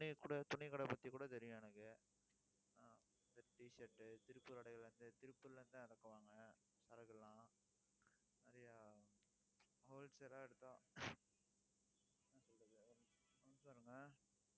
துணியை குடு, துணி கடை பத்தி கூட தெரியும் எனக்கு ஆஹ் இந்த T shirt திருப்பூர் கடையிலருந்து திருப்பூர்ல இருந்து தான் இறக்குவாங்க சரக்கு எல்லாம். நிறைய wholesale ஆ எடுத்த